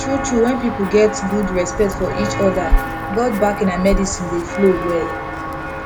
true true when people get good respect for each other god backing and medicine dey flow well